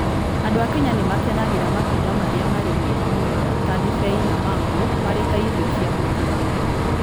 Andũ a Kenya nĩ makenagĩra matunda marĩa marĩ mega mũno ta ndibei na mango marĩ ta irio cia gũtiga.